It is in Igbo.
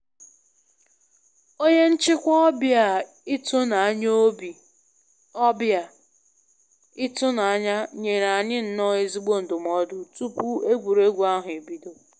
Onye nchịkwa ọbịa ịtụnanya ọbịa ịtụnanya nyere anyị nnọọ ezigbo ndụmọdụ tupu egwuregwu ahụ ebido